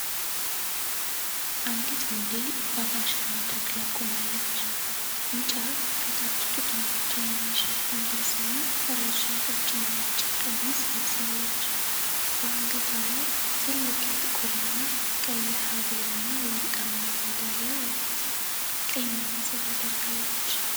አንዲት ሞዴል በፋሽን መድረክ ላይ ቆማለች። ቢጫ ከታች ጡቷን ብቻ የሚሸፍን ልብስና ረዥም ቀጭን ነጭ ቀሚስ ለብሳለች። በአንገቷ ላይ ትልቅ የጥቁርና ቀይ ሐብልና ወርቃማ ሜዳልያ አላት። ቀይ መነፅር አድርጋለች።